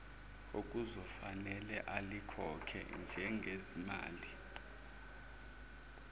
okuzofanele alikhokhe njengezimali